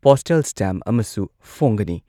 Postal stamp ꯑꯃꯁꯨ ꯐꯣꯡꯒꯅꯤ ꯫